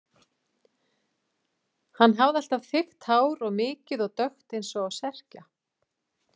Hann hafði alltaf þykkt hár og mikið og dökkt eins og á Serkja.